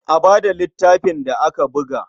A ba da littafin da aka buga.